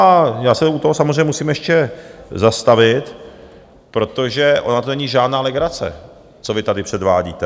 A já se u toho samozřejmě musím ještě zastavit, protože ona to není žádná legrace, co vy tady předvádíte.